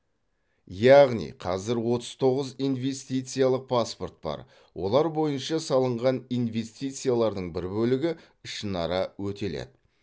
яғни қазір отыз тоғыз инвестициялық паспорт бар олар бойынша салынған инвестициялардың бір бөлігі ішінара өтеледі